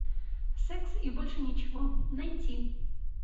секс и больше ничего найти